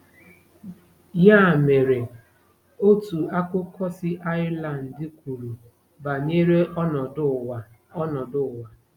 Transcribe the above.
Ya mere, otu akụkọ si Ireland kwuru banyere ọnọdụ ụwa ọnọdụ ụwa.